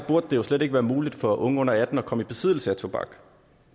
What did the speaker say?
det jo slet ikke være muligt for unge under atten år at komme i besiddelse af tobak